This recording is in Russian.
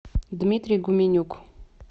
дмитрий гуменюк